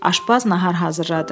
Aşbaz nahar hazırladı.